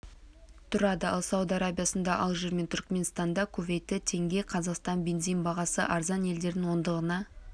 тұрады ал сауд арабиясында алжир мен түркіменстанда кувейтте теңге қазақстан бензин бағасы арзан елдердің ондығына